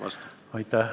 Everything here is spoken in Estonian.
Aitäh!